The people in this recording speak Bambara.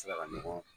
Ti se ka ɲɔgɔn